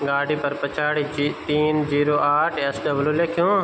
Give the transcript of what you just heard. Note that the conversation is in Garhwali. गाड़ी फर पिछाडी कि तीन जीरो आठ एस.डब्लू. लिख्यू --